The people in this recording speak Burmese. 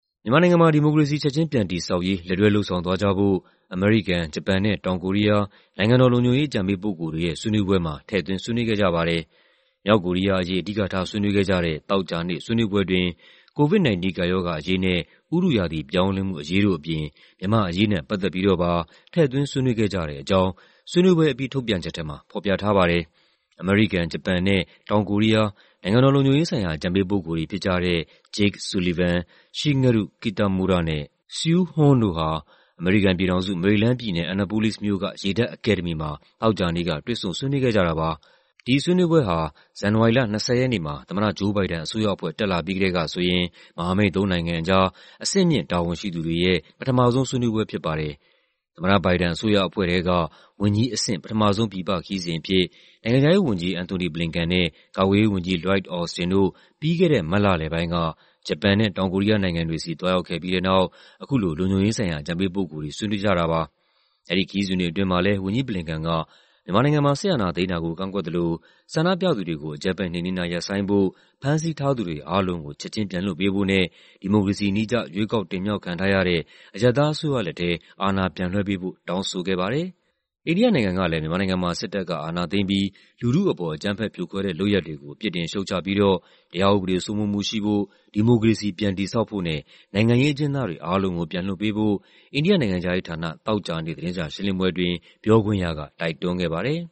မြန်မာနိုင်ငံမှာ ဒီမိုကရေစီ ချက်ချင်းပြန်တည်ဆောက်ရေး လက်တွဲလုပ်ဆောင်သွားကြဖို့ အမေရိကန်၊ ဂျပန်နဲ့ တောင်ကိုရီးယား နိုင်ငံတော်လုံခြုံရေး အကြံပေးပုဂ္ဂိုလ်တွေရဲ့ ဆွေးနွေးပွဲမှာ ထည့်သွင်း ဆွေးနွေးခဲ့ကြပါတယ်။ မြောက်ကိုရီးယားအရေး အဓိကထား ဆွေးနွေးခဲ့ကြတဲ့ သောကြာနေ့ ဆွေးနွေးပွဲအတွင်း COVID-19 ကပ်ရောဂါအရေးနဲ့ ဥတုရာသီ ပြောင်းလဲမှုအရေးတို့အပြင် မြန်မာ့အရေးနဲ့ ပတ်သက်ပြီးတော့ပါ ထည့်သွင်း ဆွေးနွေးခဲ့ကြတဲ့အကြောင်း ဆွေးနွေးပွဲအပြီး ထုတ်ပြန်ချက်ထဲမှာ ဖော်ပြထားပါတယ်။ အမေရိကန်၊ ဂျပန်နဲ့ တောင်ကိုရီးယား နိုင်ငံတော်လုံခြုံရေးဆိုင်ရာ အကြံပေးပုဂ္ဂိုလ်တွေဖြစ်ကြတဲ့ Jake Sullivan၊ Shigeru Kitamura နဲ့ Suh Hoon တို့ဟာ အမေရိကန်ပြည်ထောင်စု၊ မေရီလန်းပြည်နယ်၊ Annapolis မြို့က ရေတပ်အကယ်ဒမီမှာ သောကြာနေ့က တွေ့ဆုံဆွေးနွေးခဲ့ကြတာပါ။ ဒီဆွေးနွေးပွဲဟာ ဇန်နဝါရီလ ၂၀ ရက်နေ့မှာ သမ္မတ Joe Biden အစိုးရအဖွဲ့ တက်လာပြီးကတည်းကဆိုရင် မဟာမိတ်သုံးနိုင်ငံအကြား အဆင့်မြင့် တာဝန်ရှိသူတွေရဲ့ ပထမဆုံးဆွေးနွေးပွဲ ဖြစ်ပါတယ်။ သမ္မတ Biden အစိုးရအဖွဲ့ထဲက ဝန်ကြီးအဆင့် ပထမဆုံး ပြည်ပခရီးစဉ်အဖြစ် နိုင်ငံခြားရေးဝန်ကြီး Antony Blinken နဲ့ ကာကွယ်ရေးဝန်ကြီး Lloyd Austin တို့ ပြီးခဲ့တဲ့ မတ်လလယ်ပိုင်းက ဂျပန်နဲ့ တောင်ကိုရီးယားနိုင်ငံတွေဆီ သွားရောက်ခဲ့ပြီးတဲ့နောက် အခု လုံခြုံရေးဆိုင်ရာ အကြံပေးပုဂ္ဂိုလ်တွေ ဆွေးနွေးကြတာပါ။ အဲဒီခရီးစဉ်တွေအတွင်းမှာလည်း ဝန်ကြီး Blinken က မြန်မာနိုင်ငံမှာ စစ်အာဏာသိမ်းတာကို ကန့်ကွက်သလို ဆန္ဒပြသူတွေကို အကြမ်းဖက် နှိမ်နင်းတာ ရပ်ဆိုင်းဖို့၊ ဖမ်းဆီးထားသူတွေ အားလုံးကို ချက်ချင်း ပြန်လွှတ်ပေးဖို့နဲ့ ဒီမိုကရေစီနည်းကျ ရွေးကောက်တင်မြှောက်ခံထားရတဲ့ အရပ်သားအစိုးရလက်ထဲ အာဏာပြန်လွှဲပေးဖို့ တောင်းဆိုခဲ့ပါတယ်။ အိန္ဒိယနိုင်ငံကလည်း မြန်မာနိုင်ငံမှာ စစ်တပ်က အာဏာသိမ်းပြီး လူထုအပေါ် အကြမ်းဖက်ဖြိုခွဲတဲ့ လုပ်ရပ်တွေကို ပြစ်တင်ရှုတ်ချပြီးတော့ တရားဥပဒေစိုးမိုးမှုရှိဖို့၊ ဒီမိုကရေစီ ပြန်တည်ဆောက်ဖို့နဲ့ နိုင်ငံရေးအကျဉ်းသားတွေ အားလုံးကို ပြန်လွှတ်ပေးဖို့ အိန္ဒိယ နိုင်ငံခြားရေးဌာန သောကြာနေ့ သတင်းစာရှင်းလင်းပွဲအတွင်း ပြောခွင့်ရက တိုက်တွန်းခဲ့ပါတယ်။